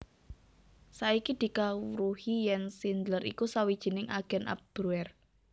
Saiki dikawruhi yèn Schindler iku sawijining agèn Abwehr